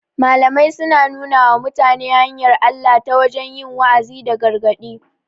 Malamai suna nuna wa mutane hanyar Allah ta wajen yi wa'azi da gargaɗi